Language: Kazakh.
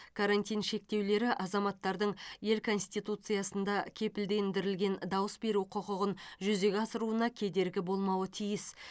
карантин шектеулері азаматтардың ел конституциясында кепілдендірілген дауыс беру құқығын жүзеге асыруына кедергі болмауы тиіс